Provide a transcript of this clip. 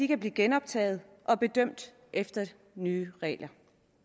kan blive genoptaget og bedømt efter de nye regler